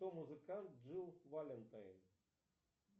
кто музыкант джилл валентайн